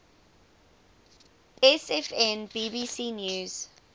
sfn bbc news